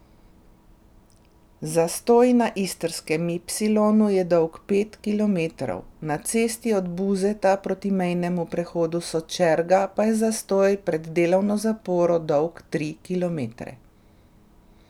Zastoj na istrskem ipsilonu je dolg pet kilometrov, na cesti od Buzeta proti mejnemu prehodu Sočerga pa je zastoj pred delovno zaporo dolg tri kilometre.